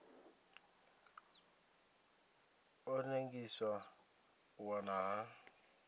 ḓo ḽengisa u wa ha